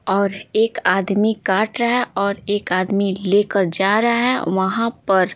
और एक आदमी काट रहा है और एक आदमी लेकर जा रहा है वहाँ पर --